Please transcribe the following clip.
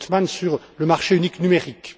Creutzmann, sur le marché unique numérique.